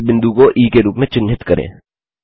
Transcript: इस बिंदु को ई के रूप में चिन्हित करें